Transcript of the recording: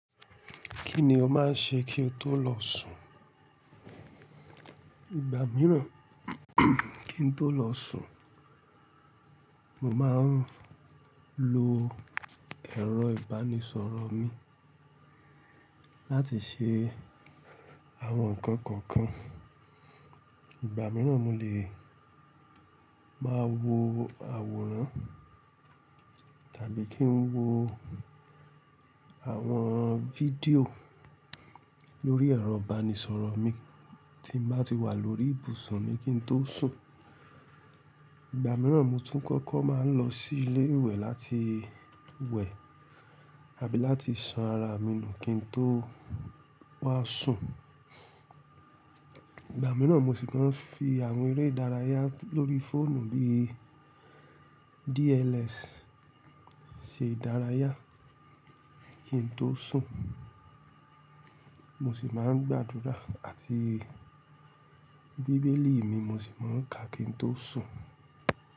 Kí ni o máa ń ṣe kí o tó lọ sùn? Ìgbà mìíràn kí n tó lọ sùn, mo máa ń lo ẹ̀rọ ìbánisọ̀rọ̀ mi láti ṣe àwọn nǹkan kọ̀ọ̀kan. Ìgbà mìíràn, mo lè máa wo àwòrán tàbí kí n wo àwọn fídíò lórí ẹ̀rọ ìbánisọ̀rọ̀ mi tí mo bá ti wà lórí ibùsùn mi kí n tó sùn. Ìgbà mìíràn, mo tún kọ́kọ́ máa ń lọ sí ilé ìwẹ̀ láti wẹ̀ àbí láti san ara mi nù kí n tó wá sùn. Ìgbà mìíràn, mo sì tun n fi àwọn eré ìdárayá lórí fóònù bíi DLS ṣe ìdárayá kí n tó sùn. Mo sì máa ń gbàdúrà àti bíbélì mi mo sì máa ń ka kí n tó sùn.